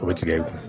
O bɛ tigɛ i kun